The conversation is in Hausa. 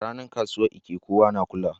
A ranar kasuwar Eke, kowa yana kulawa.